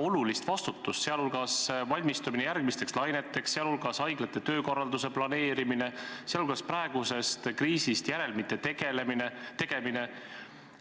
olulisi, vastutusrikkaid ülesandeid, sh järgmisteks laineteks valmistumine, haiglate töökorralduse planeerimine, praegusest kriisist järelduste tegemine.